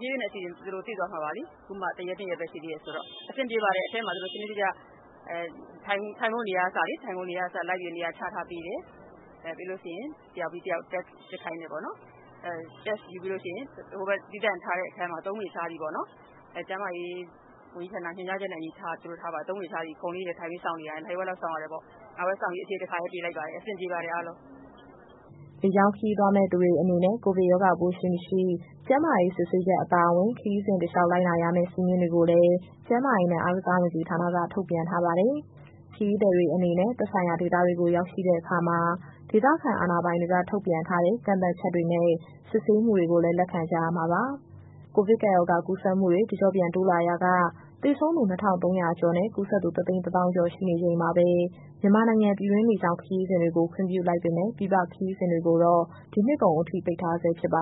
ဖြည်းဖြည်းနဲ့တော့ အဆင်ပြေသွားမှာပေါ့လေ အခုမှ ၁ ရက်၊ ၂ ရက်ပဲရှိနေသေးတာဆိုတော့။ အထဲမှာကတော့ အဆင်ပြေတယ်၊ ထိုင်ဖို့နေရာကအစ ထိုင်ခုံတွေလိုက်ပြီးတော့ချထားပေးတယ်။ ပြီးရင် တယောက်ပြီးတယောက် Test စစ်ခိုင်းတယ်ပေါ့နော်။ Test ယူပြီးရင် ဟိုဘက်က သီးသန့်အခန်းမှာ ၃ ပေခြားစီပေါ့နော်။ ကျန်းမာရေးဝန်ကြီးဌာန လမ်းညွှန်ချက်နဲ့အညီ သူတို့ထားတယ်။ နာရီဝက်လောက်ထိုင်ပြီးစောင့်ရတယ်ပေါ့၊ အဖြေ တခါတည်းပေးလိုက်ပါတယ်။ အဆင်ပြေပါတယ် အားလုံး။" လေကြောင်းခရီးသွားမယ့် သူတွေ အနေနဲ့ ကိုဗစ်ရောဂါပိုးရှိ၊ မရှိ ကျန်းမာရေးစစ်ဆေးချက်အပါအဝင်၊ ခရီးစဉ်တလျှောက် လိုက်နာရမယ့် စည်းမျဉ်းတွေကိုလည်း ကျန်းမာရေးနဲ့ အားကစားဝန်ကြီးဌာနက ထုတ်ပြန်ထားပါတယ်။ ခရီးသည်တွေအနေနဲ့ သက်ဆိုင်ရာဒေသတွေကို ရောက်ရှိတဲ့အခါမှာ ဒေသခံအာဏာပိုင်တွေက ထုတ်ပြန်ထားတဲ့ ကန့်သတ်ချက်တွေနဲ့ စစ်ဆေးမှုတွေကိုလည်း လက်ခံကြရာမှာပါ။ ကိုဗစ်ကပ်ရောဂါ ကူးစက်မှုတွေ တကျော့ပြန် တိုးလာရာက သေဆုံးသူ ၂,၃၀၀ ကျော်နဲ့ ကူးစက်သူ ၁၁၀,၀၀၀ ကျော် ရှိနေချိန်မှာပဲ မြန်မာနိုင်ငံက ပြည်တွင်းလေကြောင်း ခရီးစဉ်တွေကို ပြန်ခွင့်ပြုလိုက်ပေမဲ့ ပြည်ပခရီးစဉ်တွေကိုတော့ ဒီနှစ်ကုန်အထိ ပိတ်ထားဆဲ ဖြစ်ပ